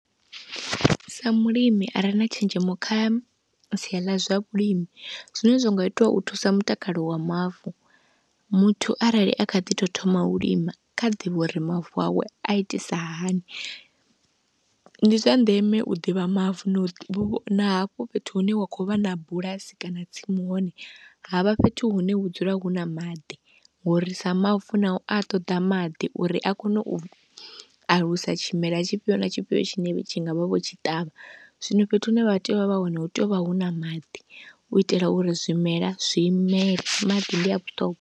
Sa mulimi a re na tshenzhemo kha sia ḽa zwa vhulimi, zwine zwa nga itiwa u thusa mutakalo wa mavu, muthu arali a kha ḓi tou thoma u lima kha ḓivhe uri mavu awe a itisahani. Ndi zwa ndeme u ḓivha mavu na hafho fhethu hune wa khou vha na bulasi kana tsimu hone havha fhethu hune hu dzula huna maḓi, ngori sa mavu nao a ṱoḓa maḓi uri a kone u alusa tshimela tshifhio na tshifhio tshine tshi nga vha vho tshi ṱavha. Zwino fhethu hune vha tea u vha vha hone hu tea u vha hu na maḓi u itela uri zwimela zwi imele, maḓi ndi a vhuṱhongwa.